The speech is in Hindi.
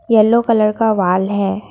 येलो कलर का वॉल है।